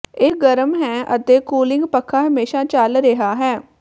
ਇਹ ਗਰਮ ਹੈ ਅਤੇ ਕੂਲਿੰਗ ਪੱਖਾ ਹਮੇਸ਼ਾ ਚੱਲ ਰਿਹਾ ਹੈ